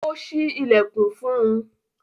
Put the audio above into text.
Ó ṣí ìlẹ̀kùn fún un.